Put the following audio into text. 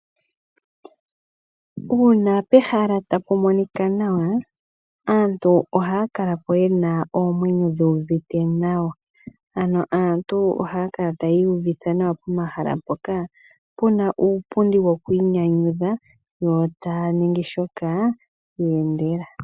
Uuna pehala tapu monika nawa aantu ohaya kala po yena oomwenyo dhi uvite nawa. Ano aantu oha ya kala taya iyuvitha nawa pomahala mpoka puna uupundi woku inyanyudha yo taya ningi shoka ye endela.